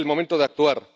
Es el momento de actuar.